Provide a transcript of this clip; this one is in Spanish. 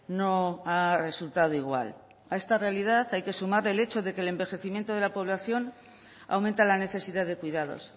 no ha resultado igual a esta realidad hay que sumarle el hecho de que el envejecimiento de la población aumenta la necesidad de cuidados